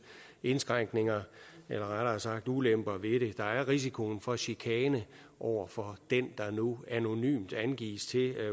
indskrænkninger eller rettere sagt ulemper ved det der er risikoen for chikane over for den der nu anonymt angives til